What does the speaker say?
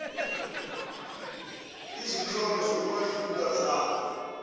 izinhlono zokubandlulula ezakhe